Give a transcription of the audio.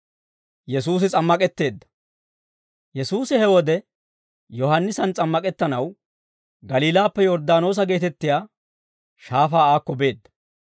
Yesuusi he wode Yohaannisan s'ammak'ettanaw, Galiilaappe Yorddaanoosa geetettiyaa shaafaa aakko beedda.